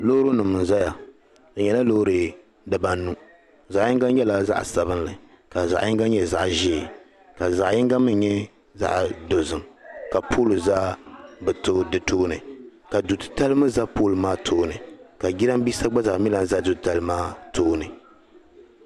loori nim n zaya di nyɛla loori dibaa anu zaɣ'yiŋga nyɛla zaɣ'sabinli ka zaɣ'yiŋga nyɛ zaɣ'ʒeei ka zaɣ'yiŋga mii nyɛ zaɣ'dozim ka pole za bɛ tooi di tooni ka du'titali mii za pole maa tooni.